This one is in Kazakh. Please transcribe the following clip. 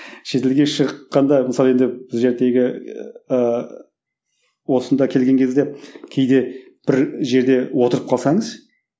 шетелге шыққанда мысалы енді ыыы осында келген кезде кейде бір жерде отырып қалсаңыз